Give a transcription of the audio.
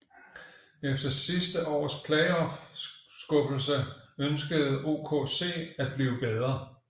Efter sidste års playoff skuffelse ønskede OKC at blive bedre